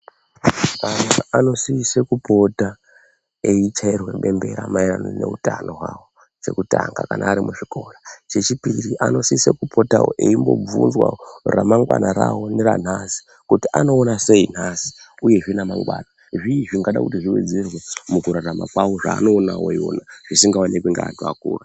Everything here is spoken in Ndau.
Ana anosise kupota eichairwe bembera maererano neutano hwavo chekutanga kana ari muzvikora. Chechipiri anosise kupotavo eimbobvunzwavo ramangwana ravo neranhasi kuti anoona sei nhasi, uyezve namangwana zvii zvinoda kuti zvivedzere mukurarama kwavo zvaanoonavo ivona zvisingaoneki ngeantu akura.